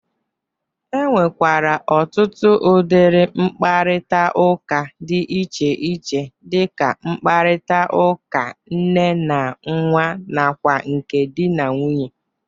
E nwekwara ọtụtụ ụdịrị mkparịtaụka dị iche iche dị ka nkparịtara ụka nne na nwa nakwa nke dị na nwunye.